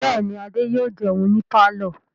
Bẹ́ẹ̀ ni, Adé yóò jẹun ní pálọ̀.